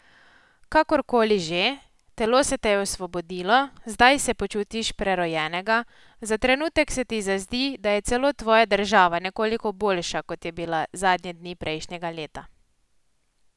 Kakorkoli že, telo se te je osvobodilo, zdaj se počutiš prerojenega, za trenutek se ti zazdi, da je celo tvoja država nekoliko boljša, kot je bila zadnje dni prejšnjega leta.